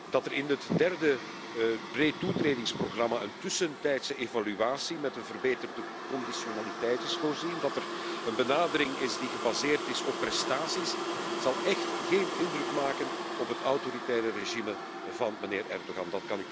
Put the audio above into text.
Dat er in het derde pretoetredingsprogramma in een tussentijdse evaluatie met een verbeterde conditionaliteit is voorzien, dat er een benadering is die gebaseerd is op prestaties, zal echt geen indruk maken op het autoritaire regime van meneer Erdoğan.